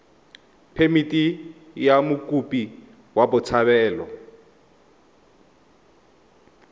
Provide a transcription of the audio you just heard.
phemithi ya mokopi wa botshabelo